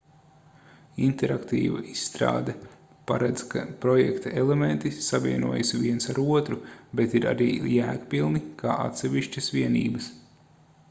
interaktīva izstrāde paredz ka projekta elementi savienojas viens ar otru bet ir arī jēgpilni kā atsevišķas vienības